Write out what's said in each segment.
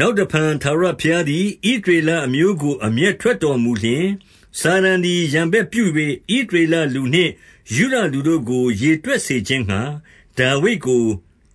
နောက်တဖန်ထာဝရဘုရားသည် ဣသရေလ အမျိုးကို အမျက်ထွက်တော်မူလျှင်၊ စာတန်သည် ရန်ဘက်ပြု၍ ဣသရေလလူနှင့် ယုဒလူတို့ကို ရေတွက် စေခြင်းငှါ ဒါဝိဒ်ကို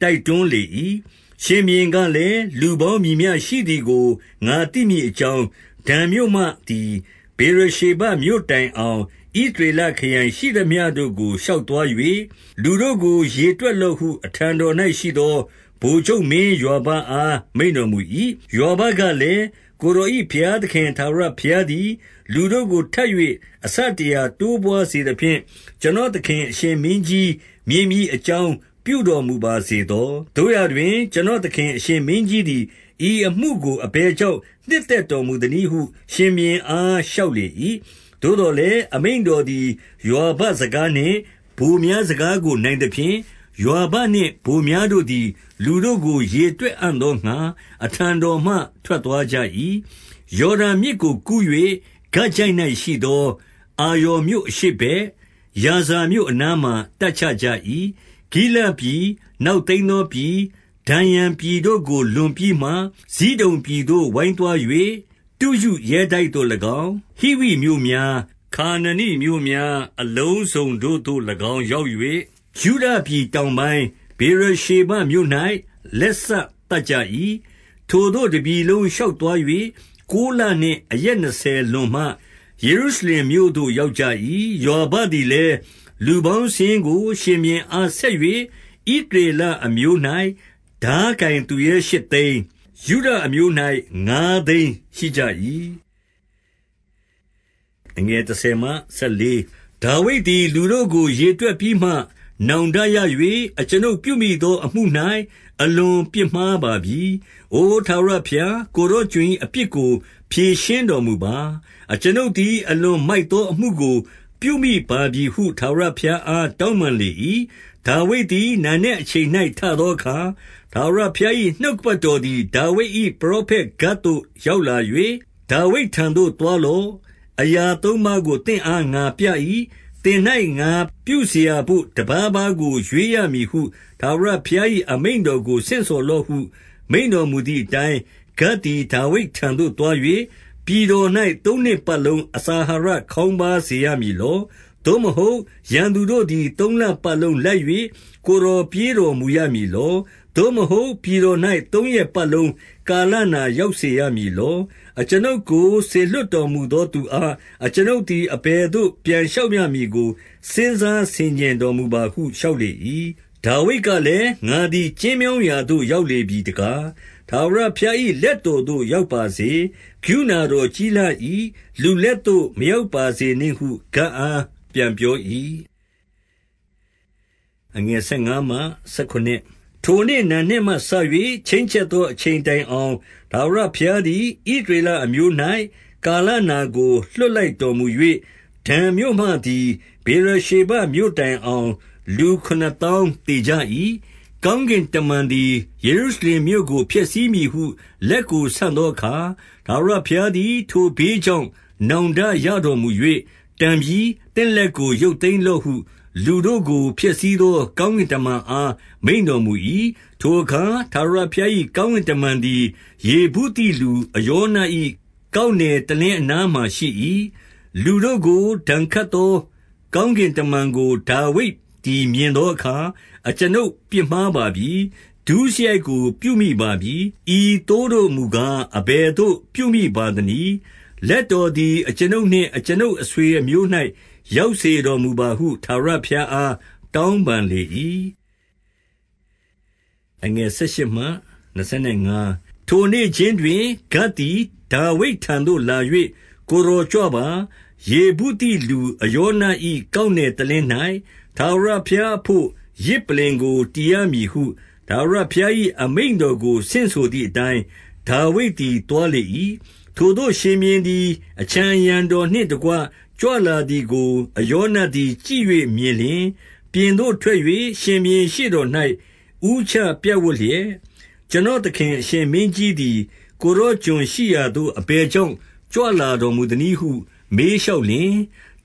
တိုက်တွန်းလေ၏။ ရှင်ဘုရင်ကလည်း၊ လူပေါင်းမည်မျှရှိသည်ကို ငါသိမည်အကြောင်း၊ ဒန်မြို့မှသည် ဗေရရှေဘမြို့ တိုင်အောင် ဣသရေလခရိုင်ရှိသမျှတို့ကို ရှောက်သွား၍၊ လူတို့ကို ရေတွက်လော့ဟု အထံတော်၌ရှိသော ဗိုလ်ချုပ် မင်းယွာဘအားမိန့်တော်မူ၏။ ယွာဘကလည်း၊ ကိုယ်တော်၏ဘုရားသခင် ထာဝရဘုရားသည် လူတို့ကိုထပ်၍ အဆတရာတိုးပွါး စေသဖြင့်၊ ကျွန်တော်သခင် အရှင်မင်းကြီးမြင်မည် အကြောင်း ပြုတော်မူပါစေသော။ သို့ရာတွင် ကျွန်တော် သခင်အရှင်မင်းကြီးသည် ဤအမှုကို အဘယ်ကြောင့် နှစ်သက်တော်မူသနည်းဟု ရှင်ဘုရင်အား လျှောက်လေ ၏။ သို့သော်လည်း အမိန့်တော်သည် ယွာဘစကား နှင့် ဗိုလ်များ စကားကိုနိုင်သဖြင့်၊ ယွာဘနှင့် ဗိုလ်များ တို့သည် လူတို့ကိုရေတွက်အံ့သောငှါ အထံတော်မှ ထွက် သွားကြ၏။ ယော်ဒန်မြစ်ကိုကူး၍ ဂဒ်ချိုင့်၌ရှိသော အာရော်မြို့အရှေ့ဘက်၊ ယာဇာမြို့အနားမှာ တပ်ချ ကြ၏။ ဂိလဒ်ပြည်၊ နောက်သိမ်းသောပြည်၊ ဒန်ယန် ပြည်တို့ကို လွန်ပြီးမှ ဇိဒုန်ပြည်သို့ ဝိုင်းသွား၍၊ တုရုရဲတိုက်သို့၎င်း၊ ဟိဝိမြို့များ၊ ခါနာနိမြို့များ အလုံးစုံတို့သို့၎င်း ရောက်၍၊ ယုဒပြည်တောင်ပိုင်း၊ ဗေရ ရှေဘမြို့၌ လက်စသတ်ကြ၏။ ထိုသို့တပြည်လုံး ရှောက်သွား၍ ကိုးလနှင့် အရက်နှစ်ဆယ်လွန်မှ ယေရုရှလင်မြို့သို့ ရောက်ကြ၏။ ယွာဘသည်လည်းလူပေါင်းစာရင်းကို ရှင်ဘုရင်အား ဆက်၍၊ ဣသရေလအမျိုး၌ ထားကိုင် သူရဲရှစ်သိန်း၊ ယုဒအမျိုး၌ ငါသိန်းရှိကြ၏။ ဒါဝိဒ်သည် လူတို့ကို ရေတွက်ပြီးမှ နောင်တရ၍၊ အကျွန်ုပ်ပြုမိသောအမှု၌ အလွန်ပြစ်မှားပါပြီ။ အိုထာဝရ ဘုရား၊ ကိုယ်တော်ကျွန်၏အပြစ်ကို ဖြေရှင်းတော်မူပါ။ အကျွန်ုပ်သည် အလွန်မိုက်သောအမှုကို ပြုမိပါပြီဟု ထာဝရဘုရားအား တောင်းပန်လေ၏။ ဒါဝိဒ်သည် နံနက်အချိန်၌ ထသောအခါ၊ ထာဝရဘုရား၏ နှုတ်ကပတ်တော်သည် ဒါဝိဒ်၏ ပရောဖက်ဂဒ်သို့ ရောက်လာ၍၊ ဒါဝိဒ်ထံသို့သွားလော့။ အရာသုံးပါးကိုသင့်အား ငါပြ၏။ သင်၌ ငါပြုစရာဘို့ တပါးပါးကိုရွေးရမည်ဟု ထာဝရဘုရား၏ အမိန့်တော်ကို ဆင့်ဆိုလော့ဟု မိန့်တော်မူသည်အတိုင်း၊ ဂဒ်သည် ဒါဝိဒ်ထံသို့သွား၍၊ ပြည်တော်၌ သုံးနှစ်ပတ်လုံး အစာအာဟာရ ခေါင်းပါးစေရမည်လော။ သို့မဟုတ် ရန်သူတို့သည် သုံးလပတ်လုံးလိုက်၍ ကိုယ်တော်ပြေးတော်မူရမည်လော။ သို့မဟုတ် ပြည်တော်၌ သုံးရက်ပတ်လုံးကာလနာ ရောက်စေရမည်လော။ အကျွန်ုပ်ကို စေလွှတ်တော်မူသောသူအား အကျွန်ုပ်သည် အဘယ်သို့ ပြန်လျှောက်ရမည်ကို စဉ်းစားဆင်ခြင်တော်မူပါဟု လျှောက်လေ၏။ ဒါဝိဒ်ကလည်း၊ ငါသည် ကျဉ်းမြောင်းရာသို့ ရောက်လေပြီတကား။ ထာဝရဘုရား၏ လက်တော်သို့ ရောက်ပါစေ။ ကရုဏတော်ကြီးလှ၏။ လူလက်သို့ မရောက်ပါစေနှင့်ဟု ဂဒ်အားပြန်ပြော၏။ ထိုနေ့နံနက်မှစ၍ ချိန်းချက်သော အချိန်တိုင်အောင် ထာဝရဘုရားသည် ဣသရေလအမျိုး၌ ကာလ နာကို လွှတ်လိုက်တော်မူ၍၊ ဒန်မြို့မှသည် ဗေရရှေဘမြို့ တိုင်အောင် လူခုနစ်သောင်းသေကြ၏။ ကောင်းကင်တမန်သည် ယေရုရှလင်မြို့ကို ဖျက်ဆီးမည်ဟု လက်ကိုဆန့်သောအခါ၊ ထာဝရဘုရား သည် ထိုဘေးကြောင့် နောင်တရတော်မူ၍၊ တန်ပြီ။ သင့်လက်ကို ရုပ်သိမ်းလော့ဟု လူတို့ကိုဖျက်ဆီးသော ကောင်းကင်တမန်အား မိန့်တော်မူ၏။ ထိုအခါ ထာဝရ ဘုရား၏ ကောင်းကင်တမန်သည် ယေဗုသိလူအရောန၏ ကောက်နယ်တလင်းအနားမှာ ရှိ၏။ လူတို့ကို ဒဏ်ခတ်သော ကောင်းကင်တမန်ကို ဒါဝိဒ်သည်မြင်သောအခါ၊ အကျွန်ုပ်ပြစ်မှားပါပြီ။ ဒုစရိုက်ကို ပြုမိပါပြီ။ ဤသိုးတို့မူကား အဘယ်သို့ပြုမိပါ သနည်း။ လက်တော်သည် အကျွန်ုပ်နှင့် အကျွန်ုပ် အဆွေ အမျိုး၌ ရောက်စေတော်မူပါဟု ထာဝရဘုရားအား တောင်းပန်လေ၏။ ထိုနေ့ခြင်းတွင် ဂဒ်သည် ဒါဝိဒ်ထံသို့လာ၍၊ ကိုယ်တော်ကြွပါ။ ယေဗုသိလူအရောန၏ ကောက်နယ် တလင်း၌ထာဝရဘုရားအဘို့ ယဇ်ပလ္လင်ကို တည်ရမည် ဟု၊ ထာဝရဘုရား၏ အမိန့်တော်ကို ဆင့်ဆိုသည်အတိုင်း ဒါဝိဒ်သည် သွားလေ၏။ ထိုသို့ရှင်ဘုရင်သည် အခြံအရံတော်နှင့်တကွ ကြွလာသည်ကို အရောနသည် ကြည့်၍မြင်လျှင်၊ ပြင်သို့ ထွက်၍ ရှင်ဘုရင်ရှေ့တော်၌ ဦးချပြပ်ဝပ်လျက်၊ ကျွန်တော်သခင် အရှင်မင်းကြီးသည် ကိုယ်တော်ကျွန်ရှိရာသို့ အဘယ်ကြောင့် ကြွလာတော်မူသနည်း ဟု မေးလျှောက်လျှင်၊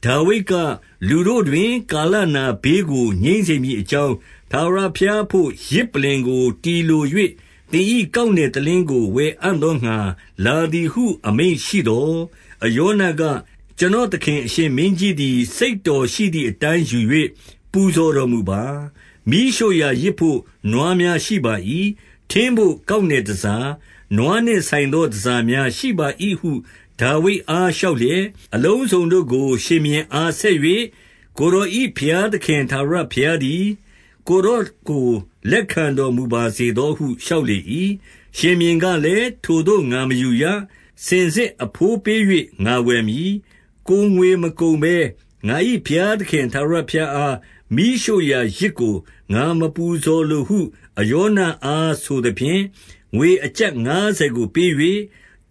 ဒါဝိဒ်က၊ လူတို့တွင် ကာလနာဘေးကို ငြိမ်းစေမည်အကြောင်း ထာဝရဘုရားအဘို့ ယဇ်ပလ္လင်ကို တည်လို၍၊ သင်၏ကောက်နယ်တလင်းကို ဝယ်အံ့သောငှါ လာသည်ဟု အမိန့်ရှိသော်၊ အရောနက၊ ကျွန်တော်သခင်အရှင်မင်းကြီး သည် စိတ်တော်ရှိသည်အတိုင်း ယူ၍ ပူဇော်တော်မူပါ။ မီးရှို့ရာယဇ်ဘို့ နွားများရှိပါ၏။ ထင်းဘို့ကောက်နယ်တန်ဆာ၊ နွားနှင့်ဆိုင်သော တန်ဆာများရှိပါ၏ဟု ဒါဝိဒ် အား လျှောက်လျက်၊ အလုံးစုံတို့ကို ရှင်ဘုရင်အား ဆက်၍၊ ကိုယ်တော်၏ ဘုရားသခင်ထာဝရဘုရားသည် ကိုယ်တော်ကို လက်ခံတော်မူပါစေသောဟု လျှောက်လေ၏။ ရှင်ဘုရင်ကလည်း၊ ထိုသို့ငါမယူရ။ စင်စစ်အဘိုးပေး၍ ငါဝယ်မည်။ ကိုယ်ငွေမကုန်ဘဲငါ၏ ဘုရားသခင် ထာဝရဘုရားအား မီးရှို့ရာယဇ်ကို ငါမပူဇော်လိုဟု အရောနအား ဆိုသဖြင့်၊ ငွေအကျပ်ငါးဆယ်ကို ပေး၍၊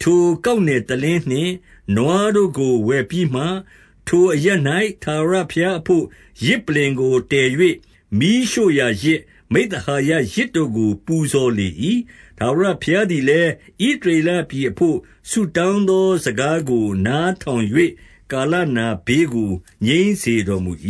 ထိုကောက်နယ်တလင်းနှင့် နွားတို့ကို ဝယ်ပြီးမှ၊ ထိုအရပ်၌ ထာဝရဘုရားအဘို့ ယဇ်ပလ္လင်ကို တည်၍ မီးရှို့ရာယဇ်၊ မိဿဟာယယဇ်တို့ကို ပူဇော် လေ၏။ ထာဝရဘုရားသည်လည်း၊ ဣသရေလပြည်အဘို့ ဆုတောင်းသောစကားကို နားထောင်၍ ကာလနာ ဘေးကို ငြိမ်းစေတော်မူ၏